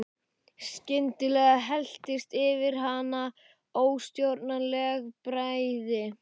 Skyndilega helltist yfir hana óstjórnleg bræði.